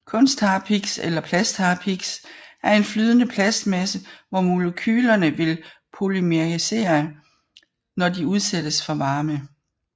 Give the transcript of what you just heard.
Kunstharpiks eller plastharpiks er en flydende plastmasse hvor molekylerne vil polymerisere når de udsættes for varme